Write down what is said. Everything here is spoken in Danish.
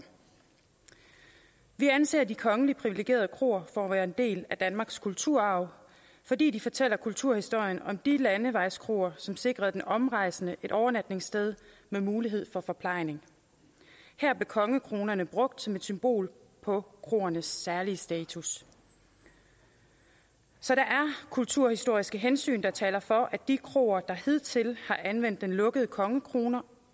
vi anser de kongelige privilegerede kroer for at være en del af danmarks kulturarv fordi de fortæller kulturhistorien om de landevejskroer som sikrede den omrejsende et overnatningssted med mulighed for forplejning her blev kongekronen brugt som et symbol på kroernes særlig status så der er kulturhistoriske hensyn der taler for at de kroer der hidtil har anvendt den lukkede kongekrone